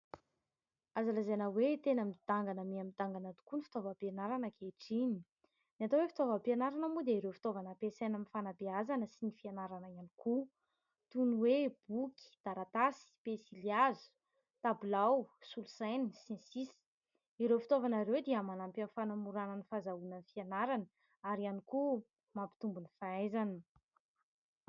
Azo lazaina hoe tena midangana mihamidangana tokoa ny fitaovam-pianarana ankehitriny. Ny atao ho fitaovam-pianarana moa dia ireo fitaovana ampiasaina amin'ny fanabeazana sy ny fianarana ihany koa toy ny hoe : boky, taratasy, pensilihazo, tabilao, solosaina, sy ny sisa. Ireo fitaovana ireo dia manampy amin'ny fanamorana ny fahazahoana ny fianarana ary ihany koa mampitombo ny fahaizana.